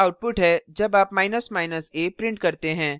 यह output है जब आप a print करते हैं